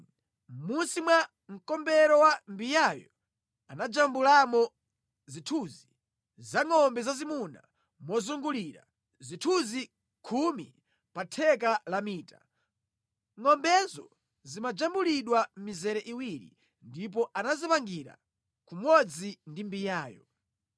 Mʼmunsi mwa mkombero wa mbiyayo anajambulamo zithunzi zangʼombe zazimuna mozungulira, zithunzi khumi pa theka la mita. Ngʼombezo zimajambulidwa mʼmizere iwiri ndipo anazipangira kumodzi ndi mbiyayo.